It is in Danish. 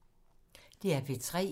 DR P3